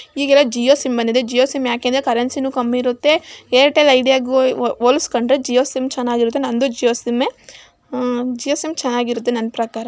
ಈಗೆಲ್ಲಾ ಜಿಯೋ ಸಿಮ್ ಬಂದಿದೆ ಜಿಯೋ ಸಿಮ್ ಯಾಕಂದ್ರೆ ಕರೆನ್ಸಿನು ಕಮ್ಮಿ ಇರುತ್ತೆ ಏರ್ಟೆಲ್ ಐಡಿಯಾ ಗೆ ಹೊಲ್ ಹೊಲಸ್ಕೊಂಡ್ರೆ ಜಿಯೋ ಸಿಮ್ ಚನ್ನಾಗಿರುತ್ತೆ ನಂದು ಜಿಯೋ ಸಿಮ್ ಆಹ್ ಜಿಯೋ ಸಿಮ್ ಚೆನ್ನಾಗಿರುತ್ತೆ ನನ್ನ ಪ್ರಕಾರ.